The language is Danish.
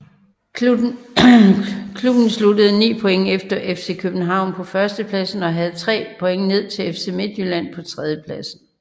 Klubben sluttede 9 point efter FC København på førstepladsen og havde 3 point ned til FC Midtjylland på tredjepladsen